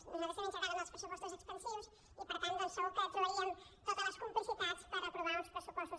a nosaltres també ens agraden els pressupostos expansius i per tant doncs segur que trobaríem totes les complicitats per aprovar uns pressupostos